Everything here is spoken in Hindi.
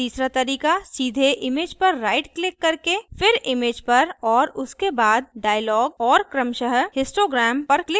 और तीसरा तरीका सीधे image पर राईट click करके फिर image पर और उसके बाद dialog और क्रमशः histogram पर click करना है